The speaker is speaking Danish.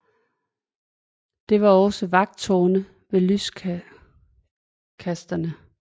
Der var også vagttårne med lyskastere